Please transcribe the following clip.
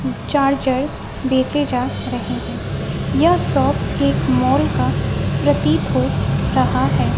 Charger बेचे जा रहे हैं यह शॉप एक मॉल का प्रतीत हो रहा है।